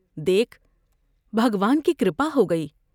دیکھ بھگوان کی کر پا ہوگئی ۔